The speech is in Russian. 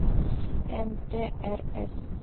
нтрс